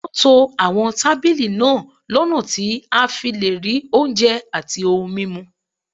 Wọ́n to àwọn tábìlì náà lọ́nà tí wọ́n á fi lè rí oúnjẹ àti ohun mímu